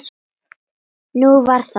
Nú, var það?